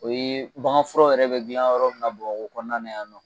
O ye bagan furaw yɛrɛ be gilan yɔrɔ min na bamakɔ kɔnɔna la yan nɔ